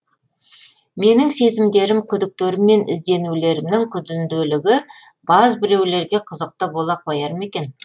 менің сезімдерім күдіктерім мен ізденулерімнің күнделігі баз біреулерге қызықты бола қояр ма екен